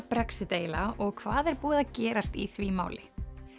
Brexit eiginlega og hvað er búið að gerast í því máli